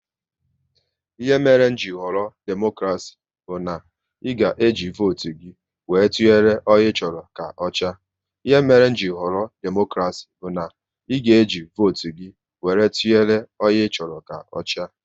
Ihe mere m ji họrọ demokrasi bụ na e ga e ji votu gị wéré tụnyere onye ị chọrọ ka ochia